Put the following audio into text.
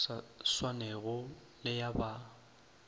sa swanego le ya ba